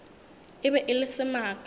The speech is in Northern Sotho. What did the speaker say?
e be e le semaka